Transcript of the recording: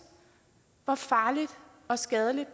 hvor farligt og skadeligt